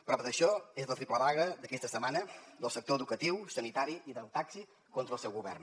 prova d’això és la triple vaga d’aquesta setmana dels sectors educatiu sanitari i del taxi contra el seu govern